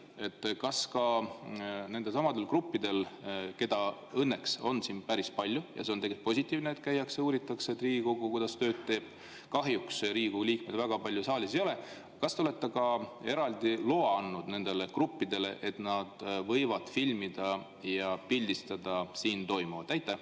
Kas ka nendelesamadele gruppidele, keda õnneks on siin päris palju – see on positiivne, et käiakse ja uuritakse, kuidas Riigikogu tööd teeb, kahjuks Riigikogu liikmeid saalis väga palju ei ole –, kas te olete ka nendele eraldi loa andnud, et nad võivad filmida ja pildistada siin toimuvat?